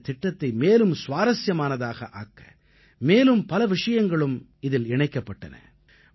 இந்தத் திட்டத்தை மேலும் சுவாரசியமானதாக ஆக்க மேலும் பல விஷயங்களும் இதில் இணைக்கப்பட்டன